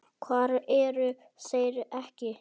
Hvar eru þeir ekki?